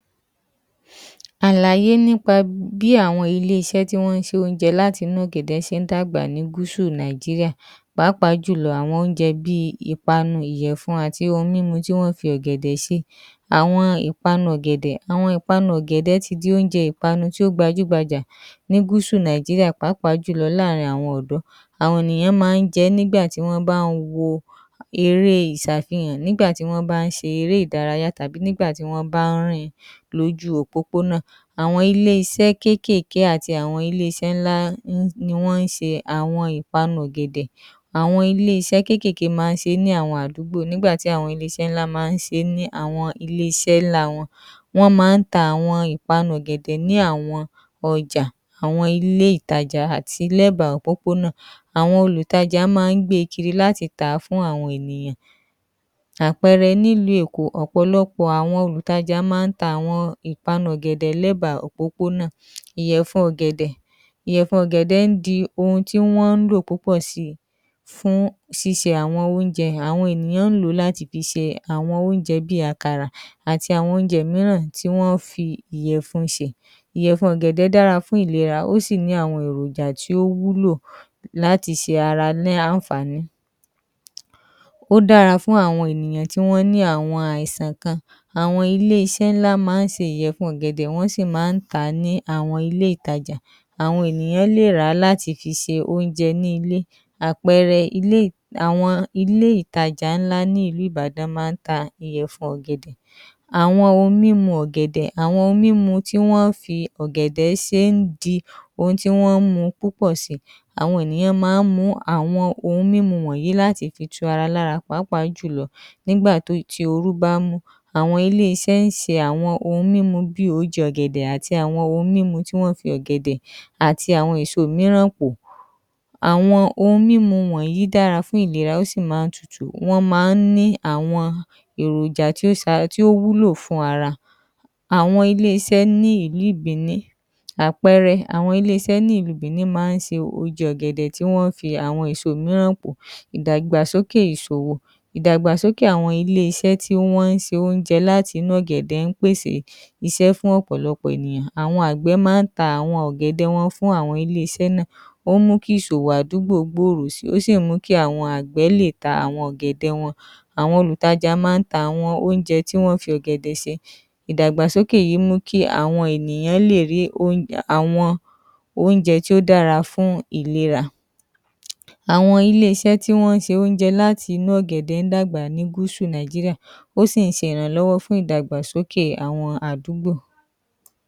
Àlàyé nípa bí àwọn ilé iṣẹ́ tí ó ń ṣe oúnjẹ láti inú inú ọ̀gẹ̀dẹ̀ ṣe ń dàgbà ní gúúsù Nigeria, pàápàá jù lọ àwọn oúnjẹ bíi ìpanu, ìyẹ̀fun, àti ohun mímu tí wọ́n ń fi ọ̀gẹ̀dẹ̀ ṣe, àwọn ìpanu ọ̀gẹ̀dẹ̀ ti di oúnjẹ ìpanu tó gbajúgbajà ní gúúsù Nàìjíríà pàápàá jù lọ ní àárín àwọn ọ̀dọ́ àwọn ènìyàn máa ń jẹ ẹ́ nígbà tí wọ́n ń bá ń wo eré ìṣà fihàn, nígbà tí wọ́n bá ń ṣe eré ìdárayá kan nígbà tí wọ́n ń bá ń rìn lójú òpópónà, àwọn ilé iṣẹ́ kéékèèké àti àwọn ilé iṣẹ́ ńlá ni wọ́n ń ṣe àwọn ìpanu ọ̀gẹ̀dẹ̀, àwọn Ilé iṣẹ́ kéékèèké máa ń ṣe ní àwọn àdúgbò nígbà tí àwọn ilé iṣẹ́ ńlá máa ń ṣe é ní ilé iṣẹ́ ńlá wọn, wọ́n máa ń ta àwọn ìpanu ọ̀gẹ̀dẹ̀ ní àwọn ọjà àwọn ilé ìtajà àti lẹ́bàá òpópónà, àwọn olùtajà máa ń gbé e kiri láti tà á fún àwọn ènìyàn, àpẹẹrẹ nílùú Èkó ọ̀pọ̀lọpọ̀ àwọn olùtajà máa ń ta àwọn ohun ìpanu lẹ́bàá òpópónà, ìyẹ̀fun ọ̀gẹ̀dẹ̀ ń di ohun tí wọ́n ń lò púpọ̀ sí I fún ṣíṣe àwọn oúnjẹ mìíràn, àwọn ènìyàn ń lò ó láti fi ṣe oúnjẹ bíi àkàrà àti àwọn oúnjẹ mìíràn tí wọ́n ń fi ìyẹ̀fun ṣe, ìyẹ̀fun ọ̀gẹ̀dẹ̀ dára fún ìlera ó sì ní àwọn èròjà tí ó wúlò láti ṣe ara ní àǹfààní ó dára fún àwọn ènìyàn tí wọ́n ní àwọn àìsàn kan àwọn ilé iṣẹ́ ńlá máa ń ṣe ìyẹ̀fun ọ̀gẹ̀dẹ̀, àwọn sì máa ń tà á ní àwọn ilé ìtajà àwọn àìsàn kan, àwọn ilé iṣẹ́ ńlá máa ń ṣe ìyẹ̀fun ọ̀gẹ̀dẹ̀ wọ́n sì máa ń tà á ní àwọn ilé ìtajà, àwọn ènìyàn lè rà á láti fi ṣe oúnjẹ ní ilé, àpẹẹrẹ àwọn ilé ìtajà ńlá máa ń ta ìyẹ̀fun ọ̀gẹ̀dẹ̀, àwọn ohun mímu ọ̀gẹ̀dẹ̀, àwọn ohun mímu tí wọ́n máa ń fi ọ̀gẹ̀dẹ̀ ṣe ń di ohun tí wọ́n ń mu púpọ̀ sí I àwọn ènìyàn máa ń mu ú àwọn ohun mímu wọ̀nyí láti fi tu ara lára pàápàá jù lọ nígbà tí oru bá mú, àwọn ilé iṣẹ́ ń ṣe àwọn mímu bíi oúnjẹ ọ̀gẹ̀dẹ̀ àti àwọn ohun mímu tí wọ́n ń fi ọ̀gẹ̀dẹ̀ àti àwọn èso mìíràn pò, àwọn ohun mímu wọ̀nyí dára fún ìlera ó sì máa ń tutù wọ́n máa ń ní àwọn èròjà tó sara lóore tí ó wúlò fún ara, àwọn ilé iṣẹ́ ní ìlú ìbíní àwọn àpẹẹrẹ àwọn ilé iṣẹ́ ní ìlú bìní máa ń ṣe oúnjẹ ọ̀gẹ̀dẹ̀ tí wọ́n fi àwọn èso mìíràn pò àwọn ìdàgbàsókè ìsòwò, àwọn ìdàgbàsókè ilé iṣẹ́ tí wọ́n ń ṣe oúnjẹ láti inú ọ̀gẹ̀dẹ̀ ń pèsè iṣẹ́ fún ọ̀pọ̀lọpọ̀ ènìyàn, àwọn àgbẹ̀ máa ń ta àwọn ọ̀gẹ̀dẹ̀ wọn fún àwọn ilé iṣẹ́ náà, ó mú kí ìsòwò àdúgbò náà gbòòrò sí I Ó sì mú kí àwọn àgbẹ̀ lè ta ọ̀gẹ̀dẹ̀ wọn, àwọn olùtajà máa ń ta àwọn oúnjẹ tí wọ́n ń fi ọ̀gẹ̀dẹ̀ ṣe, ìdàgbàsókè yìí mú kí àwọn ènìyàn lè mú kí oúnjẹ àwọn oúnjẹ tí ó dára fún ìlera, àwọn ilé iṣẹ́ tí ó ń ṣe oúnjẹ láti inú ọ̀gẹ̀dẹ̀ ń dàgbà ní gúúsù Nàìjíríà ó sì ń ṣe ìrànlọ́wọ́ fún ìdàgbàsókè àwọn àdúgbò